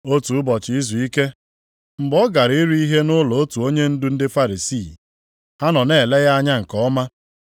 Otu ụbọchị izuike, mgbe ọ gara iri ihe nʼụlọ otu onyendu ndị Farisii, ha nọ na-ele ya anya nke ọma.